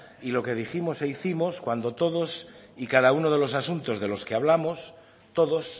y lo que dijimos e hicimos cuando todos y cada uno de los asuntos de los que hablamos todos